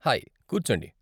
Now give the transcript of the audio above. Hi, కూర్చోండి.